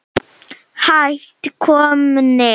Hætt komnir.